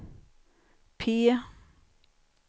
P